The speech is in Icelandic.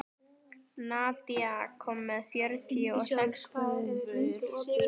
Nadia, ég kom með fjörutíu og sex húfur!